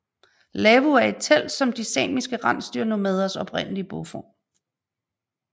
Lavvu er et telt som er de samiske rensdyrnomaders oprindelige boform